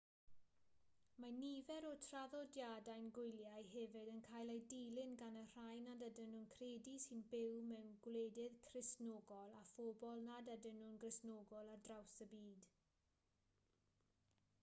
mae nifer o'r traddodiadau gwyliau hefyd yn cael eu dilyn gan y rhai nad ydyn nhw'n credu sy'n byw mewn gwledydd cristnogol a phobl nad ydyn nhw'n gristnogol ar draws y byd